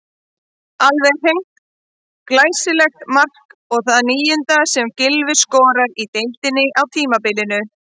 Alveg hreint glæsilegt mark og það níunda sem Gylfi skorar í deildinni á tímabilinu.